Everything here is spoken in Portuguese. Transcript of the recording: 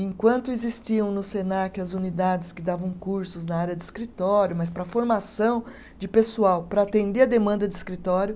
Enquanto existiam no Senac as unidades que davam cursos na área de escritório, mas para formação de pessoal, para atender a demanda de escritório.